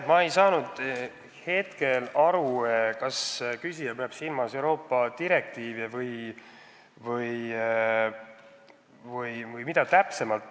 Ma ei saanud praegu aru, kas küsija peab silmas Euroopa direktiive või mida täpsemalt.